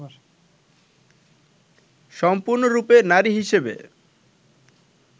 সম্পূর্ণরূপে নারী হিসেবে